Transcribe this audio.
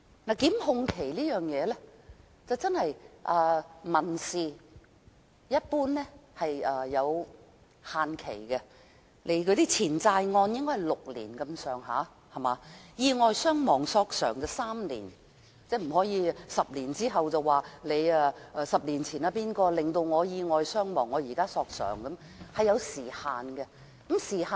民事訴訟的檢控一般是有期限的，錢債案的期限應該是大約6年，意外傷亡索償則是3年，受害人不可以在10年後才說10年前誰導致意外發生，現在才索償，這是有時限的。